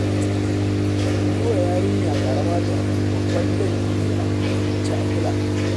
Yi wa yarinya ƙarama fyaɗe babban laifi ne a hukumance, a kula